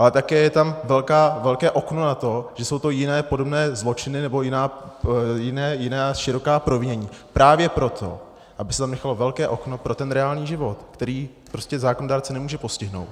Ale také je tam velké okno na to, že jsou to jiné podobné zločiny, nebo jiná široká provinění právě proto, aby se tam nechalo velké okno pro ten reálný život, který prostě zákonodárce nemůže postihnout.